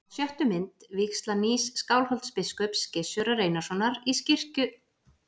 Á sjöttu mynd: vígsla nýs Skálholtsbiskups, Gizurar Einarssonar, í kirkju vorrar frúar í Kaupmannahöfn.